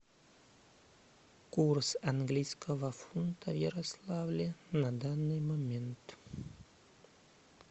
курс английского фунта в ярославле на данный момент